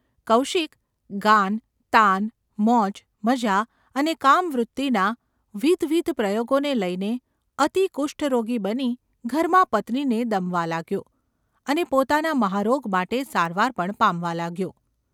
કૌશિક ગાન, તાન, મોજ, મજા ને કામવૃત્તિના વિધવિધ પ્રયોગોને લઈને અતિ કુષ્ઠરોગી બની ઘરમાં પત્નીને દમવા લાગ્યો અને પોતાના મહારોગ માટે સારવાર પણ પામવા લાગ્યો.